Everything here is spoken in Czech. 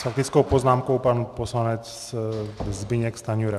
S faktickou poznámkou pan poslanec Zbyněk Stanjura.